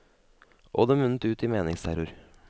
Og det munnet ut i meningsterror.